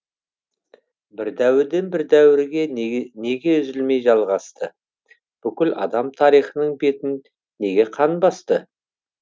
бір дәуірден бір дәуірге неге неге үзілмей жалғасты бүкіл адам тарихының бетін неге қан басты